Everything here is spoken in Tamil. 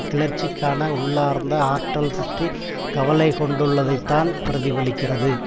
கிளர்ச்சிக்கான உள்ளார்ந்த ஆற்றல் பற்றி கவலை கொண்டுள்ளதைத்தான் பிரதிபலிக்கிறது